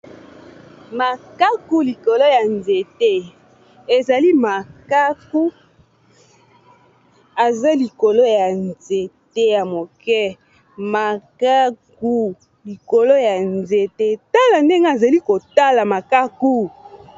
makaku likolo ya nzete ezali makaku eza likolo ya nzete ya moke makaku likolo ya nzete tala ndenge azali kotala makaku